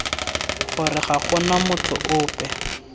gore ga gona motho ope